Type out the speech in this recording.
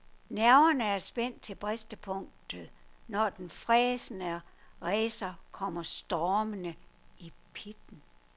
Nerverne er spændt til bristepunktet, når den fræsende racer kommer stormende i pitten.